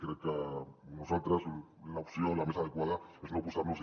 crec que per nosaltres l’opció la més adequada és no oposar nos hi